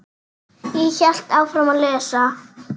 Ég hélt áfram að lesa.